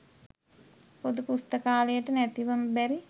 පොදු පුස්තකාලයට නැතිවම බැරි